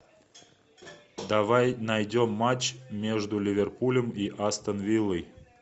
давай найдем матч между ливерпулем и астон виллой